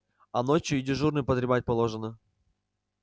а ночью и дежурным подремать положено